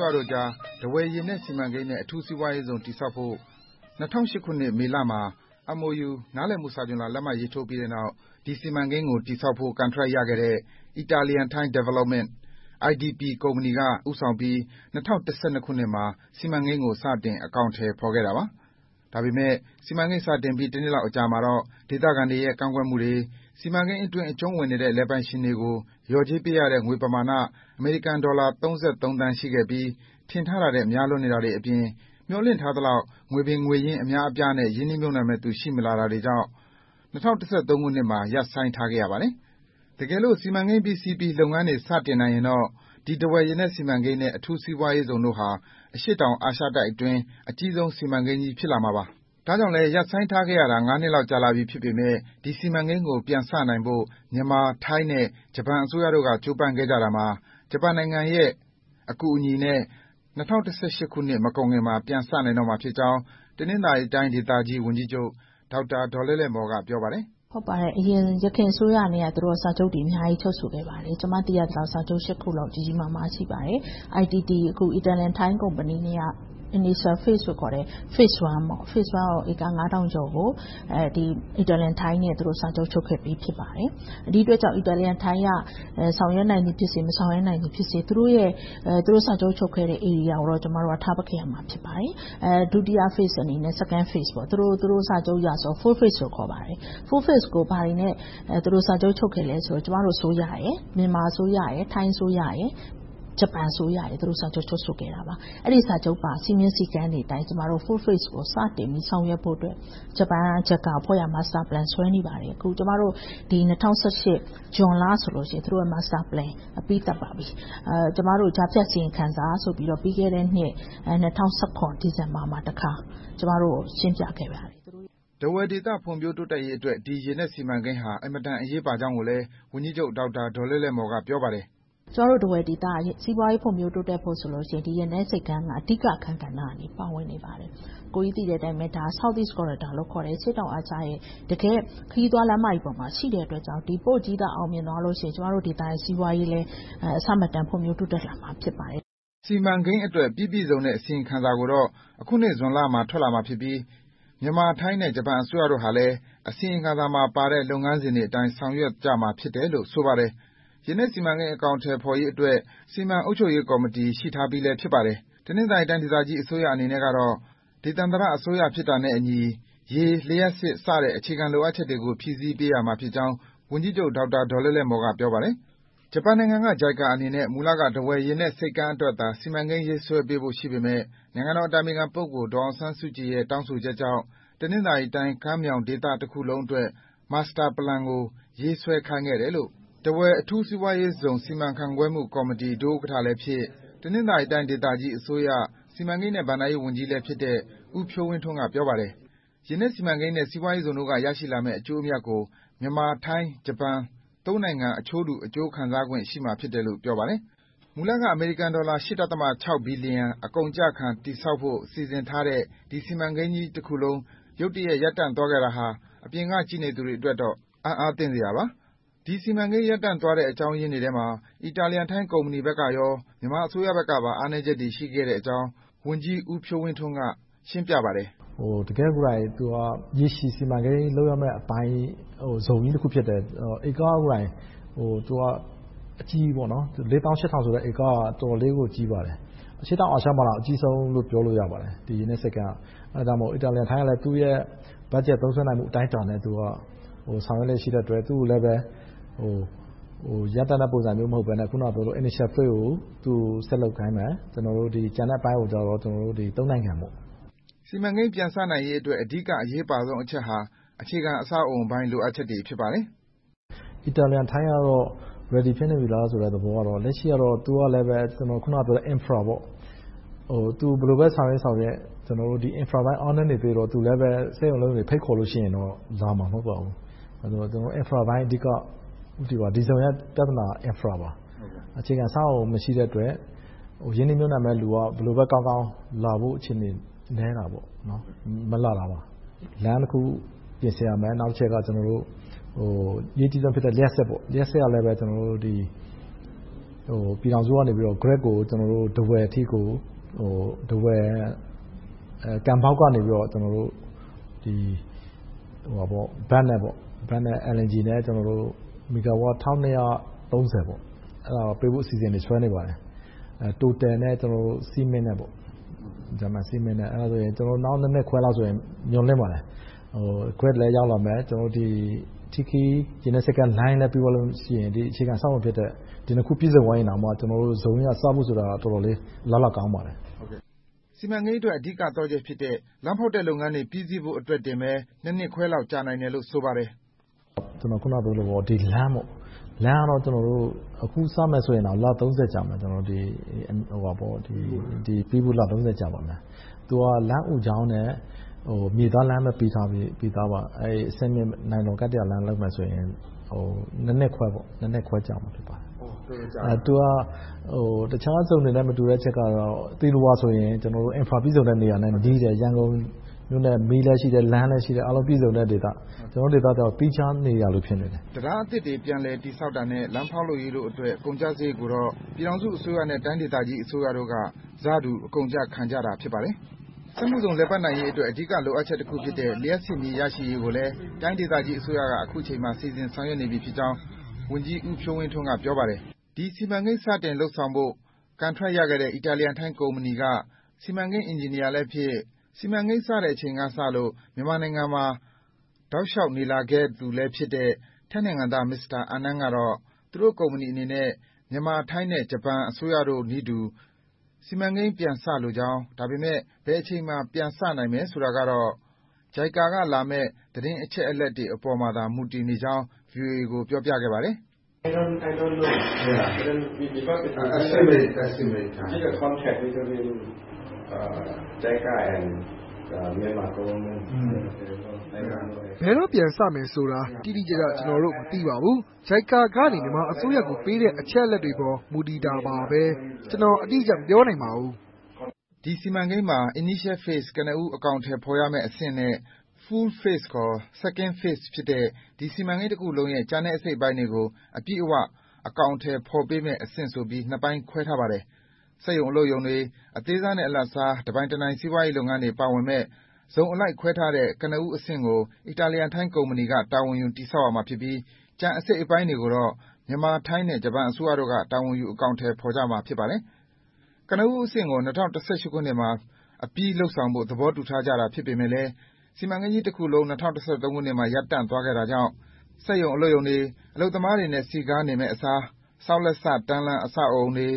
ရတို့ကြား ထားဝယ်ရေနက်စီမံကိန်း နဲ့ အထူးစီးပွားရေးဇုန် တည်ဆောက်ဖို့ ၂၀၀၈ ခုနှစ် မေလမှာ MOU နားလည်မှုစာချွန်လွှာ လက်မှတ်ရေးထိုးပြီးနောက် ဒီစီမံကိန်းကို ဆောက်လုပ်ဖို့ ကန်ထရိုက်ရခဲ့တဲ့ Italian-Thai Development ကုမ္ပဏီက ဦးဆောင်ပြီး ၂၀၁၁ ခုနှစ်မှာ စီမံကိန်းကို စတင်အကောင်အထည်ဖော် ခဲ့တာပါ။ ဒါပေမဲ့ စီမံကိန်း စတင်ပြီး တစ်လလောက်အကြာမှာတော့ ဒေသခံတွေရဲ့ ကန့်ကွက်မှုတွေ၊ စီမံကိန်းအတွင်း အကြုံဝင်နေပါတဲ့ လယ်ပိုင်ရှင်တွေကို လျော်ကြေးပေးရတဲ့ ငွေပမာ၊ အမေရိကန်ဒေါ်လာ သန်း ရှိခဲ့ပြီး၊ ထင်ထားတာနဲ့ များလွန်တာထက်အပြင်၊ မျှော်လင့်ထားသလောက် ငွေပင်ငေရင်း အများအပြားနဲ့ ရင်းနှီးမြုပ်နံှမှုတွေ ရှိမလာတာကြောင့် ၂၀၁၃ ခုနှစ်မှာ ရပ်ဆိုင်းထားခဲ့ရပါတယ်။ တကယ်လို့ စီမံကိန်း ပြီးစီးပြီ လုပ်ငန်းတွေ စတင်နိုင်ရင်တော့ ဒီ ထားဝယ်ရေနက်စီမံကိန်းနဲ့ အထူးစီးပွားရေးဇုန်တို့ဟာ အရှေ့တောင်အာရှတိုက်အတွင်း အကြီးဆုံး စီမံကိန်းကြီး ဖြစ်လာမှာပါ။ ဒါကြောင့်လဲ ရပ်ဆိုင်းထားရတာ နှစ်လောက် ကြာလာပြီဖြစ်ပေမယ့် ဒီ စီမံကိန်းကို ပြန်စနိုင်ဖို့ မြန်မာ၊ ထိုင်း၊ ဂျပန်အစိုးရတို့ ကြိုးပမ်းခဲ့ရာမှာ ဂျပန်နိုင်ငံရဲ့ အကူအညီနဲ့ ၂၀၁၈ ခုနှစ် မကုန်ခင်လောက်မှာ ပြန်စနိုင်မှာဖြစ်ကြောင်း တနင်္သာရီတိုင်းဒေသကြီး ဝန်ကြီးချုပ် ဒေါက်တာဒေါ်လဲ့လဲမော် က ပြောပါတယ်။ ဖြေ ။ ။ ယခင်အစိုးရနဲ့လည်း စာချုပ်တွေ အများကြီး ချုပ်ဆိုခဲ့ပါတယ်။ ကျမ သိရသလောက် စာချုပ် ခုလောက် ကြီးကြီးမားမား ရှိပါတယ်။ Italian-Thai Company နဲ့က Initial Phase ဧက ငါးထောင်ကျော်ကို Italian-Thai Company နဲ့ စာချုပ်ချုပ်ခဲ့ပြီ ဖြစ်ပါတယ်။ ဒီအတွက်ကြောင့် Italian-Thai က ဆောင်ရွက်နိုင်သည်ဖြစ်စေ၊ မဆောင်ရွက်နိုင်သည်ဖြစ်စေ သူတို့စာချုပ် ချုပ်ဆိုခဲ့တဲ့ Area ကိုတော့ ကျမတို့က ထားပစ်ခဲ့ရမှာ ဖြစ်ပါတယ်။ ဒုတိယအဆင့် Second Phase အနေနဲ့ သူတို့စာချုပ်အရ Full Phase လို့ ခေါ်ပါတယ်။ Full phase ကို ဘာတွေနဲ့ စာချုပ်ချုပ်ခဲ့သလဲဆိုရင် မြန်မာ၊ ထိုင်း၊ ဂျပန်အစိုးရတို့နဲ့ ချုပ်ဆိုခဲ့တာပါ။ အဲဒီစာချုပ် စည်းမျဉ်း၊ စည်းကမ်းတွေအတိုင်း ကျမတို့ Full Phase ကို စတင်ပြီးဆောင်ရွက်ဖို့အတွက် ဂျပန် JICA အဖွဲ့က Master Plan ဆွဲနေပါတယ်။ ကျမတို့ ၂၀၁၈ ဇွန်လဆိုရင် Master Plan အပြီးသတ်ပါပြီ။ ကျမတို့ကို ကြားဖြတ်အစီရင်ခံစာဆိုပြီး ပြီးခဲ့တဲ့နှစ် ၂၀၁၇ ဒီဇင်ဘာမှာ ကျမတို့ကို တခါရှင်းပြခဲ့ပါတယ်။ မေး ။ ။ ထားဝယ်ဒေသ ဖွံ့ဖြိုးရေးအတွက် ဒီရေနက်စီမံကိန်းဟာ အင်မတန် အရေးပါကြောင်းကိုလည်း ဝန်ကြီးချုပ်ဒေါက်တာဒေါ်လဲ့လဲ့မော် က ပြောပါတယ်။ ဖြေ ။ ။ ကျမတို့ ထားဝယ်ဒေသ စီးပွားရေးဖွံ့ဖြိုးတိုးတက်ဖို့ဆိုရင် ရေနက်ဆိပ်ကမ်းက အဓိကအခန်းကဏ္ဍကနေ ပါဝင်နေပါတယ်။ ဒါက Southeast Corridor လို့ခေါ်တဲ့ အရှေ့တောင်အာရှရဲ့ တကယ့် ခရီးသွားလမ်းမကြီးပေါ်မှာ ရှိတဲ့အတွက်ကြောင့် ဒီ Port ကြီးသာ အောင်မြင်သွားခဲ့ရင် ကျမတို့ဒေသရဲ့ စီးပွားရေးလည်း အဆမတန် ဖွံ့ဖြိုးတိုးတက်လာမှာ ဖြစ်ပါတယ်။ မေး ။ ။ စီမံကိန်းအတွက် ပြီပြည့်စုံတဲ့ အစီရင်ခံစာကိုတော့ အခုနှစ် ဇွန်လမှာ ထွက်လာမှာဖြစ်ပြီး မြန်မာ၊ ထိုင်း၊ ဂျပန်အစိုးရတို့ကလည်း အစီရင်ခံစာတွေမှာပါတဲ့ လုပ်ငန်းစဉ်တွေအတိုင်း ဆောင်ရွက်ကြမှာ ဖြစ်တယ်လို့ ဆိုပါတယ်။ ရေနက်စီမံကိန်း အကောင်အထည်ဖော်ရေးအတွက် စီမံအုပ်ချုပ်ရေးကော်မတီ ရှိထားပြီဖြစ်ပါတယ်။ တနင်္သာရီတိုင်း ဒေသကြီးအစိုးရအနေနဲ့က ဒေသန္တရအစိုးရ ဖြစ်တာနဲ့အညီ ရေ၊ လျှပ်စစ် အခြေခံ လိုအပ်ချက်တွေကို ဖြည့်ဆည်းပေးရမှာဖြစ်ကြောင်း ဝန်ကြီးချုပ်ဒေါက်တာဒေါ်လဲ့လဲမော် က ပြောပါတယ်။ ဂျပန်နိုင်ငံက JICA အနေနဲ့ မူလက ထားဝယ်ရေနက်ဆိပ်ကမ်းအတွက်သာ စီမံကိန်းရေးဆွဲပေးဖို့ ရှိပေမယ့် နိုင်ငံတော်အတိုင်ပင်ခံ ပုဂ္ဂိုလ် ဒေါ်အောင်ဆန်းစုကြည်ရဲ့ တောင်းဆိုချက်ကြောင့် တနင်္သာရီတိုင်းကမ်းမြောင်းဒေသတခုလုံးအတွက် Master Plan ကို ရေးဆွဲခိုင်းထားတယ်လို့ ထားဝယ်အထူးစီးပွားရေးဇုန် စီမံခန့်ခွဲမှုကော်မတီ ဒုဥက္ကဋ္ဌလည်းဖြစ်၊ တနင်္သာရီတိုင်း အစိုးရ စီမံကိန်းနဲ့ ဘဏ္ဍာရေးဝန်ကြီးလည်းဖြစ်တဲ့ ဦးဖြိုးဝင်းထွန်းက ပြောပါတယ်။ ရေနက်စီမံကိန်းနဲ့ စီးပွားရေးဇုန်တို့က ရရှိလာမယ့် အကျိုးအမြတ်ကို မြန်မာ၊ ထိုင်း၊ ဂျပန် နိုင်ငံ အချိုးတူ အကျိုးခံစားခွင့်ရှိမှာလို့ ပြောပါတယ်။ မူလက အမေရိကန်ဒေါ်လာ ဘီလီယန် အကုန်အကျခံ တည်ဆောက်ဖို့ စီစဉ်ထားတဲ့ ဒီစီမံကိန်းကြီးတခုလုံး ရုတ်တရက် ရပ်တန့်သွားခဲ့တာဟာ အပြင်က ကြည့်နေသူတွေအတွက်တော့ အံ့သြသင့်စရာပါ။ ဒီစီမံကိန်း ရပ်တန့်သွားတဲ့ အကြောင်းရင်းတွေထဲမှာ Italian-Thai Company နဲ့ မြန်မာအစိုးရဘက်တွေမှာ အားနည်းချက်တွေရှိကြောင်း ဝန်ကြီးဦးဖြိုးဝင်းထွန်းက ရှင်းပြပါတယ်။ ဖြေ ။ ။ ရေရှည်စီမံကိန်း လုပ်ရမယ့်အပိုင်း ဇုန်ကြီးတခု ဖြစ်တယ်။ ဧကပေါင်း လေးသောင်းရှစ်ထောင်ဆိုတဲ့ ဧက က တော်တော်လေးကို ကြီးပါတယ်။ အရှေ့တောင်အာရှမှာတောင် အကြီးဆုံးလို့ ပြောလို့ရပါတယ်။ ဒါကြောင့်လဲ Italian-Thai ကလည်း သူ့ရဲ့ ဘတ်ဂျက် သုံးစွဲနိုင်မှု အတိုင်းအတာနဲ့ ဆောင်ရွက်နေတော့ သူကိုလည်း ရပ်တန့်တဲ့ပုံစံမျိုး မဟုတ်ဘဲနဲ့ အခုနပြောသလို Initial Phase ကို ဆက်လုပ်ခိုင်းမယ်။ ကျန်တဲ့အပိုင်းကိုတော့ နိုင်ငံ လုပ်သွားမယ်။ မေး ။ ။ စီမံကိန်း ပြန်စနိုင်ရေးအတွက် အဓိက အရေးပါဆုံးအချက်ဟာ အခြေခံအဆောက်အအုံပိုင်း လိုအပ်ချက်တွေ ဖြစ်ပါတယ်။ ဖြေ ။ ။ Italian-Thai က Ready ဖြစ်နေပြီလား သဘောကတော့ လက်ရှိကတော့ သူကလည်း ကျနော် အခုနပြောတဲ့ Infra သူ ဘယ်လိုပဲဆောင်ရွက်ဆောင်ရွက် ကျနော်တို့ Infra ပိုင်း အားနည်းနေသရွေ့တော့ သူလဲပဲ စက်ရုံ၊ အလုပ်ရုံပိုင်းတွေ ဖိတ်ခေါ်တဲ့အခါမှာ လာမှာမဟုတ်ပါဘူး။ ဒီဇုန်ရဲ့ ပြဿနာက Infra - အခြေခံအဆောက်အအုံ မရှိတဲ့အတွက် ရင်းနှီးမြုပ်နံှမှု မရှိတဲ့အတွက် ရင်းနှီးမြုပ်နံှမယ်လူက ဘယ်လိုပဲကောင်းကောင်း လာဖို့အခြေအနေ နည်းတာပေါ့။ မလာတာပါ။ လမ်းတခု ပြင်ဆင်ရမယ်။ နောက်တချက်က အရေးကြီးဆုံးဖြစ်တဲ့ လျှပ်စစ်ကလည်း ပြည်ထောင်စုကနေ Grid ကို ကံပေါက်ကနေ ထားဝယ်အထိ မီဂါဝပ် ၁၂၃၀ ပေးဖို့ အစီအစဉ်တွေ ဆွဲနေပါတယ်။ Total နဲ့ ဂျာမန် Cement နဲ့ လုပ်နေပါတယ်။ နောက် နှစ်ခွဲလောက်ဆို မျှော်လင့်ပါတယ်။ လျှပ်စစ်လည်း ရလာမယ်၊ ရေနက်ဆိပ်ကမ်းလိုင်းလည်း ပြီသွားလို့ရှိရင် အခြေခံအဆောက်အအုံဖြစ်တဲ့ ဒီနှစ်ခု ပြည့်စုံသွားရင် ဒီလုပ်ငန်းစပြီး အလားအလာကောင်းပါတယ်။ မေး ။ ။ စီမံကိန်းအတွက် အဓိကသော့ချက်ဖြစ်တဲ့ လမ်းဖောက်တဲ့လုပ်ငန်းတွေ ပြီးစီးဖို့အတွက်တင် နှစ်ခွဲလောက် ကြာနိုင်တယ်လို့ ဆိုပါတယ်။ ဖြေ ။ ။ ကျနော် အခုနပြောသလို အဓိကတော့ လမ်းပေါ့။ လမ်းကတော့ အခုစမယ်ဆိုရင်တောင် ပြီးဖို့ လ ကြာပါမယ်။ သူက လမ်းအူကြောင်းနဲ့ မြေသားလမ်းပဲ ပြီးထားတယ်။ နိုင်လွန်ကတ္တရာလမ်း လုပ်မယ်ဆိုရင် နှစ်ခွဲ ကြာမှာ ဖြစ်ပါတယ်။ တခြားဇုန်တွေနဲ့ မတူတဲ့အချက်တွေကတော့ သီလဝါဆိုရင် အခြေခံအဆောက်အအုံ ပြည့်စုံတဲ့ ရန်ကုန်နဲ့နီးတယ်။ မီး၊ လမ်း ပြည့်စုံတဲ့ဒေသ။ ကျနော်တို့ဒေသကတော့ သီးခြားနေရာလို ဖြစ်နေတယ်။ မေး ။ ။ တံတားအသစ်တွေ ပြန်လည်တည်ဆောက်တာနဲ့ လမ်းဖောက်လုပ်ရေးတို့အတွက် ကုန်ကျစရိတ်တွေကိုတော့ ပြည်ထောင်စုအစိုးရနဲ့ တိုင်းဒေသကြီးအစိုးရတို့က ဆတူအကုန်အကျခံကြတာ ဖြစ်ပါတယ်။ စက်မှုဇုန် လည်ပတ်နိုင်ရေးအတွက် အဓိကလိုအပ်ချက်တခုဖြစ်တဲ့ လျှပ်စစ်မီး ရရှိရေးကိုလည်း တိုင်းဒေသကြီးအစိုးရက အခုအချိန်မှာ စီစဉ်ဆောင်ရွက်နေပြီဖြစ်ကြောင်း ဝန်ကြီးဦးဖြိုးဝင်းထွန်းက ပြောပါတယ်။ ဒီစီမံကိန်း စတင်လုပ်ဆောင်ဖို့ ကန်ထရိုက်ရခဲ့တဲ့ Italian-Thai Company က စီမံကိန်းအင်ဂျင်နီယာလည်းဖြစ်၊ စီမံကိန်းစတဲ့အချိန်ကစလို့ မြန်မာနိုင်ငံမှာ တောက်လျှောက်နေလာခဲ့သူလည်းဖြစ်တဲ့ ထိုင်းနိုင်ငံသား မစ္စတာအန်နန်ကတော့ သူတို့ကုမ္ပဏီအနေနဲ့ မြန်မာ-ထိုင်း နဲ့ ဂျပန် အစိုးရတို့နည်းတူ စီမံကိန်း ပြစလိုကြောင်း။ ဒါပေမဲ့ ဘယ်အချိန်မှာ ပြန်စနိုင်မယ်ဆိုတာကတော့ JICA က လာမယ့် သတင်းအချက်အလက်တွေအပေါ်မှာသာ မူတည်နေကြောင်း VOA ကို ပြောပြခဲ့ပါတယ်။ ဖြေ ။ ။ ဘယ်တော့ပြန်စမယ်ဆိုတာကို ကျနော်တို့ တိတိကျကျ မသိပါဘူး။ JICA ကနေ မြန်မာအစိုးရကိုပေးတဲ့ အချက်အလက်တွေအပေါ် မူတည်ပါတယ်။ ကျနော် အတိအကျ မပြောနိုင်ပါဘူး။ မေး ။ ။ ဒီစီမံကိန်းမှာ Initial Phase ကနဦးအကောင်အထည် ဖော်ရမယ့်အဆင့်နဲ့ Full Phase ခေါ် Second Phase ဖြစ်တဲ့ စီမံကိန်းတခုလုံးရဲ့ ကျန်တဲ့အစိတ်အပိုင်းတွေကို အပြည့်အဝ အကောင်အထည်ဖော်ပေးမယ့်အဆင့်ဆိုပြီး နှစ်ပိုင်းခွဲထားပါတယ်။ စက်ရုံ၊ အလုပ်ရုံတွေ၊ အသေးစားနဲ့ အလတ်စား တပိုင်းတနိုင် စီးပွားရေးလုပ်ငန်းတွေ ပါဝင်မယ့် ဇုန်အလိုက်ခွဲထားမယ့် ကနဦးအဆင့်ကို Italian-Thai Company က တာဝန်ယူ တည်ဆောက်ရမှာဖြစ်ပြီး ကျန်အစိတ်အပိုင်းတွေကိုတော့ မြန်မာ၊ ထိုင်း၊ ဂျပန်အစိုးရတို့က တာဝန်ယူ အကောင်အထည်ဖော်ရမှာ ဖြစ်ပါတယ်။ ကနဦးအဆင့်ကို ၂၀၁၈ ခုနှစ်မှာ အပြီလုပ်ကြဖို့ သဘောတူထားကြတာ ဖြစ်ပေမယ့်လဲ စီမံကိန်းကြီးတခုလုံး ၂၀၁၃ ခုနှစ်မှာ ရပ်တန့်သွားခဲ့တာကြောင့် စက်ရုံ၊ အလုပ်ရုံတွေ အလုပ်သမားတွေနဲ့ စည်းကားနေမယ့်အစား ဆောက်လုပ်စတန်းလန်း အဆောက်အအုံတွေ၊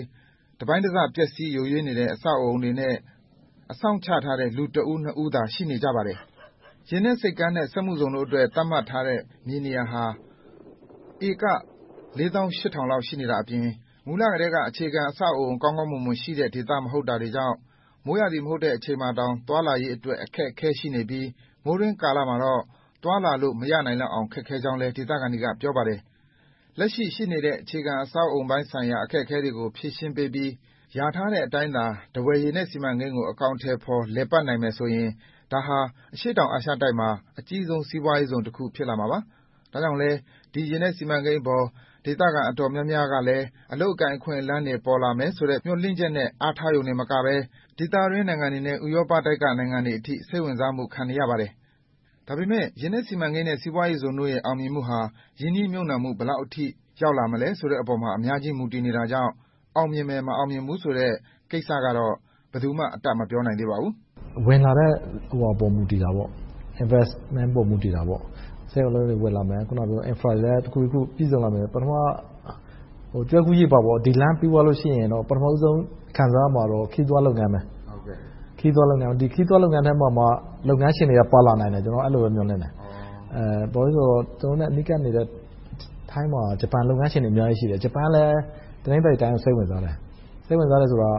တပိုင်းတစ ပျက်စီးယိုးယွင်းနေတဲ့ အဆောက်အအုံတွေနဲ့ အစောင့်ချထားတဲ့ လူတဦး၊ နှစ်ဦးသာ ရှိနေပါတယ်။ ရေနက်ဆိပ်ကမ်းနဲ့ စက်မှုဇုန်တို့အတွက် သတ်မှတ်ထားတဲ့ မြေနေရာဟာ ဧက လေးသောင်းရှစ်ထောင်လောက် ရှိနေတာအပြင်၊ မူလကတည်းက အခြေခံအဆောက်အအုံ ကောင်းကောင်းမွန်မွန်ရှိတဲ့ ဒေသမဟုတ်တာကြောင့် မိုးရာသီ မဟုတ်တဲ့အချိန်မှာတောင် သွားလာရေးအတွက် အခက်အခဲ ရှိနေပြီး၊ မိုးတွင်းကာလမှာတော့ သွားလာလို့ မရနိုင်အောင် ခက်ခဲကြောင်း ဒေသခံတွေက ပြောပါတယ်။ လက်ရှိရှိနေတဲ့ အခြေခံအဆောက်အအုံပိုင်းဆိုင်ရာ အခက်အခဲတွေကို ဖြေရှင်းပေးပြီး ရာထားတဲ့အတိုင်းသာ ထားဝယ်ရေနက်စီမံကိန်းကို အကောင်အထည်ဖော် လည်ပတ်နိုင်မယ်ဆိုရင် ဒါဟာ အရှေ့တောင်အာရှတိုက်မှာ အကြီးဆုံး စီးပွားရေးဇုန် ဖြစ်လာမှာပါ။ ဒါကြောင့်လဲ ဒီရေနက်စီမံကိန်းအပေါ် ဒေသခံ အတော်များများကလည်း အလုပ်အကိုင် အခွင့်အလမ်းတွေ ပေါ်လာမယ်ဆိုတဲ့ မျှော်လင့်ချက်နဲ့ အားထားရုံတင်မကဘဲ ဒေသတွင်း နိုင်ငံတွေနဲ့ ဥရောပတိုက်က နိုင်ငံတွေအထိ စိတ်ဝင်စားမှု ခံနေရပါတယ်။ ဒါပေမဲ့ ရေနက်စီမံကိန်းနဲ့ စီးပွားရေးဇုန်တို့ရဲ့ အောင်မြင်မှုဟာ ရင်းနှီးမြုပ်နံှမှု ဘယ်လောက်အထိ ရောက်လာမလဲဆိုတဲ့အပေါ် အများကြီး မူတည်နေတာကြောင့် အောင်မြင်မယ်၊ မအောင်မြင်ဘူးဆိုတဲ့ ကိစ္စကတော့ ဘယ်သူမှ အတတ်မပြောနိုင်သေးပါဘူး။ ဖြေ ။ ။ ဝင်လာတဲ့ ရင်းနှီးမြုပ်နံှမှုပေါ် မူတည်တာပေါ့။ စက်ရုံ၊ အလုပ်ရုံတွေ ဝင်လာမယ်။ အခြေခံအဆာက်အအုံတွေလည်း တခုပြီးတခု ပြည့်စုံလာမယ်။ ကျွဲကူးရေပါ - ဒီလမ်းပြီးသွားလို့ရှိရင် ပထမဦးဆုံး ခံစားရမှာကတော့ ခရီးသွားလုပ်ငန်းပါ။ ဒီခရီးသွားလုပ်ငန်းထဲမှာမှ လုပ်ငန်းရှင်တွေက ပါလာနိုင်မယ်လို့ မျှော်လင့်တယ်။ ကျနော်တို့နဲ့ အနီးကပ်ဆုံးနေတဲ့ ထိုင်းမှာ ဂျပန်လုပ်ငန်းရှင်တွေ အများကြီးရှိတယ်။ ဂျပန်ကလည်း တနင်္သာရီတိုင်းကို စိတ်ဝင်စားတယ်။ စိတ်ဝင်စားတယ်ဆိုတာ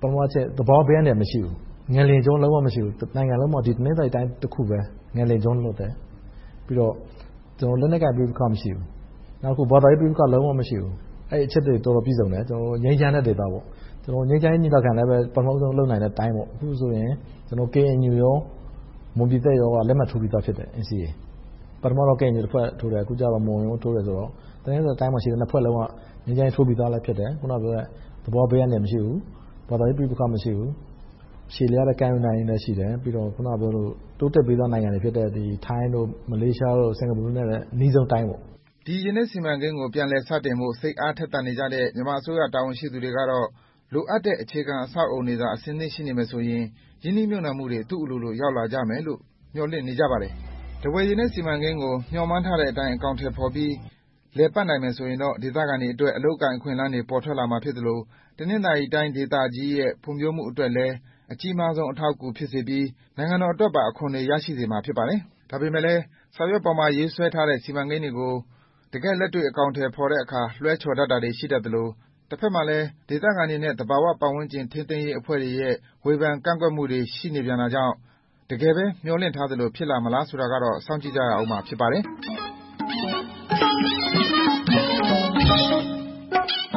ပထမတချက် သဘာဝဘေးအန္တရာယ် မရှိဘူး။ ငလျင်ကြော လုံးဝမရှိဘူး။ တနိုင်ငံလုံးမှာ တနင်္သာရီတိုင်းတခုပဲ ငလျင်ကြော လွတ်တယ်။ လက်နက်ကိုင် ပဋိပက္ခ မရှိဘူး။ ဘာသာရေး ပဋိပက္ခ လုံးဝမရှိဘူး။ အဲဒီအချက်တွေနဲ့ တော်တော်ပြည့်စုံတယ်။ ငြိမ်းချမ်းတဲ့ဒေသ ဖြစ်တယ်။ ငြိမ်းချမ်းရေးညီလာခံလည်း ပထမဦးဆုံး လုပ်နိုင်တဲ့ တိုင်းဖြစ်တယ်။ အခုဆိုရင် KNU နဲ့ မွန်ပြည်သစ်တို့က NCA လက်မှတ်ထိုးပြီသာဖြစ်တယ်။ ပထမ KNU ထိုးတယ်။ အခုကြတော့ မွန်လည်းထိုးတယ်ဆိုတော့ တနင်္သာရီတိုင်းအတွင်းမှာရှိတဲ့ နှစ်ဖွဲ့စလုံးက ငြိမ်းချမ်းရေးလက်မှတ်ထိုးပြီးသာ ဖြစ်တယ်။ နောက် အခုနပြောတဲ့ သဘာဝဘေးအန္တရာယ် မရှိဘူး။ ဘာသာရေး ပဋိပက္ခ မရှိဘူး။ ရှည်လျားတဲ့ ကမ်းရိုးတန်းကြီးပဲ ရှိတယ်။ ပြီးတော့ တိုးတက်ပြီသား နိုင်ငံတွေဖြစ်တဲ့ ထိုင်း၊ မလေးရှား၊ စင်္ကာပူတို့နဲ့ အနီးဆုံးတိုင်း ဖြစ်တယ်။ မေး ။ ။ ဒီရေနက်စီမံကိန်း ပြန်လည်စတင်ဖို့ စိတ်အားထက်သန်နေတဲ့ မြန်မာအစိုးရ တာဝန်ရှိသူတွေကတော့ လိုအပ်တဲ့ အခြေခံအဆောက်အအုံတွေသာ အဆင်သင့် ရှိနေမယ်ဆိုရင် ရင်းနှီးမြုပ်နံှမှုတွေ သူ့အလိုလို ရောက်လာလိမ့်မယ်လို့ မျှော်လင့်နေကြပါတယ်။ ထားဝယ်ရေနက်စီမံကိန်းကို မျှော်မှန်းထားတဲ့အတိုင်း အကောင်အထည်ဖော်ပြီး လည်ပတ်နိုင်မယ်ဆိုရင်တော့ ဒေသခံတွေအတွက် အလုပ်အကိုင် အခွင့်အလမ်းတွေ ပေါ်ထွက်လာမှာ ဖြစ်သလို တနင်္သာရီတိုင်း ဒေသကြီးရဲ့ ဖွံ့ဖြိုးမှုအတွက်လည်း အကြီးမားဆုံး အထောက်အကူ ဖြစ်စေပြီး၊ နိုင်ငံတော်အတွက်ပါ အခွန်တွေ ရရှိစေမှာ ဖြစ်ပါတယ်။ ဒါပေမဲ့လဲ စာရွက်ပေါ်မှာ ရေးဆွဲထားတဲ့ စီမံကိန်းတွေကို တကယ့်လက်တွေ့ အကောင်အထည်ဖော်တဲ့အခါ လွှဲချော်တတ်တာတွေ ရှိတတ်သလို၊ တဘက်မှာလည်း ဒေသခံတွေနဲ့ သဘာဝပတ်ဝန်းကျင် ထိန်းသိမ်းရေးအဖွဲ့တွေရဲ့ ဝေဖန်ကန့်ကွက်မှုတွေ ရှိနေပြန်တာကြောင့် တကယ်ပဲ မျှော်လင့်ထားသလို ဖြစ်လာမလား ဆိုတာကိုတော့ စောင့်ကြည့်ရမှာ ဖြစ်ပါတယ်။